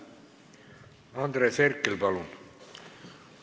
Andres Herkel, palun!